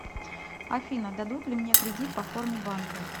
афина дадут ли мне кредит по форме банка